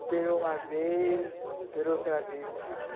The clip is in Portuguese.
Operou uma vez, operou outra vez.